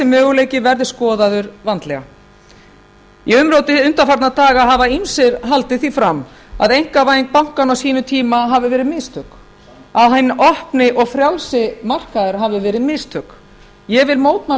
möguleiki verði skoðaður vandlega í umróti undafar á daga hafa ýmsir haldið því fram að einkavæðing bankanna á sínum tíma hafi verið mistök að hinn opni og frjálsi markaður hafi verið mistök ég vil mótmæla